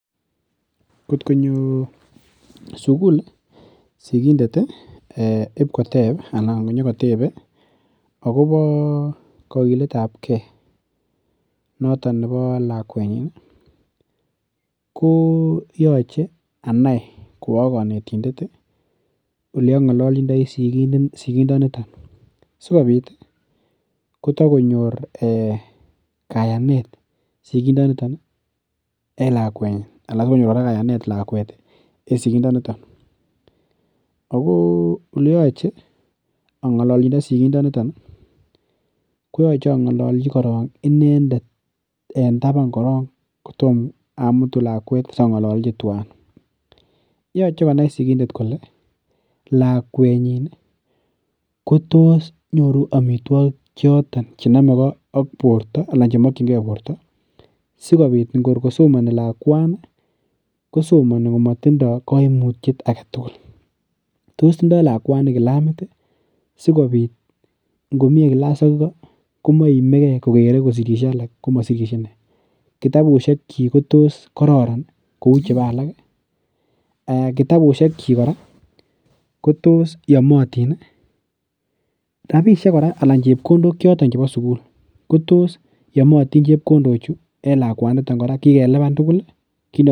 Kot konyo sugul sikindet abnyokoteb kakiletab ge nebo lakuet nyin, ko yache anai ko akanetindet ih oleang'allachindoi sigindet nito sikobit ih , kotakonyor kayanet sikindo niton ih en lakunyin anan sikonyor kayanet lakuet en sikindo niton. Ago oleyacheang'alalchindo sigindoniton koyache ang'alalchi koron inendet en taban korok kotomamutu lakuet siang'alchi tuan. Lakuetnyin kotos nyoru amituakik choton chenamegei ak borta anan chenamegei ak borta. Sikobit ngor kosomani lakuani kosomani komatindo kaimutiet aketugul. Tos tindoo lakuani kilamit ih , sikobit korkosirishe komaimege , tos tindoo kitabut ih kouchebo alak , kitabusiek chik kora kotos yamatin. Rabisiek kora cheuu chebkondok cheba sugul ko tos kigeluban tugul?